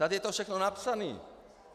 Tady je to všechno napsané!